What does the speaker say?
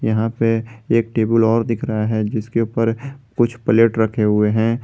यहां पे एक टेबुल और दिख रहा है जिसके ऊपर कुछ प्लेट रखे हुए हैं।